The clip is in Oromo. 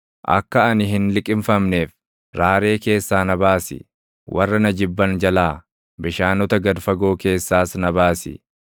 Akka ani hin liqimfamneef, raaree keessaa na baasi; warra na jibban jalaa, bishaanota gad fagoo keessaas na baasi.